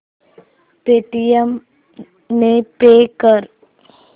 Paytm ने pay कर